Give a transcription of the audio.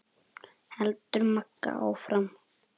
heldur Magga áfram.